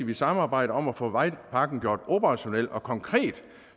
vi samarbejder om at få vejpakken gjort operationel og konkret